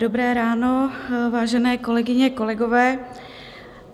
Dobré ráno, vážené kolegyně, kolegové.